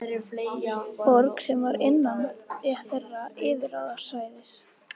Borg sem var innan þeirra yfirráðasvæðis.